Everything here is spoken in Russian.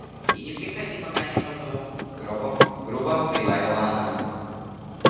и не приходи пока не позову грубо грубо прибавила она